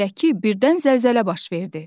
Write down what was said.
Fərz edək ki, birdən zəlzələ baş verdi.